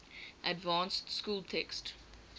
advanced school text